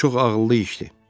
"Bu çox ağıllı işdir.